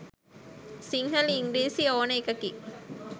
සිංහල ඉංග්‍රිසි ඕන එකකින්